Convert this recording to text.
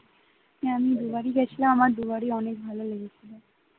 হ্যাঁ আমি দুবারই গেছিলাম আর দুবারই অনেক ভালো লেগেছিল